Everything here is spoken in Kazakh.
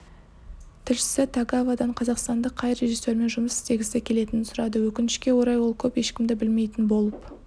тілшісі тагавадан қазақстандық қай режиссермен жұмыс істегісі келетінін сұрады өкінішке орай ол көп ешкімді білмейтін болып